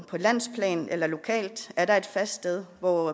landsplan eller lokalt er der et fast sted hvor